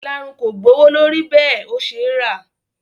Ìlarun kò gbowó lórí bẹ́ẹ̀ ó ṣe rà